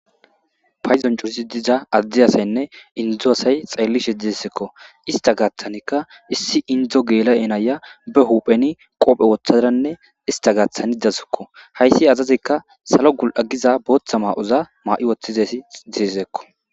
payzon curisi diza adde asaynne indzo asay xeelli sheddiesekko ista gaaththanikka issi indzo geela7enaya be hupheni qoophe woththaranne ista gaaththani dasekko hayssi azazikka salo gul7a giza booththa maa7oza maa7i woththizasi disekko.